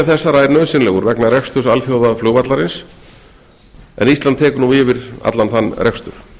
mannvirkjanna er nauðsynlegur vegna reksturs alþjóðaflugvallarins en ísland tekur yfir þann rekstur